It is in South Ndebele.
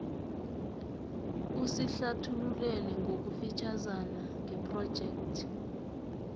usihlathululele ngokufitjhazana ngephrojekhthi